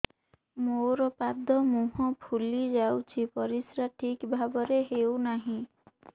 ମୋର ପାଦ ମୁହଁ ଫୁଲି ଯାଉଛି ପରିସ୍ରା ଠିକ୍ ଭାବରେ ହେଉନାହିଁ